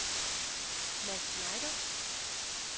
Mads Schneider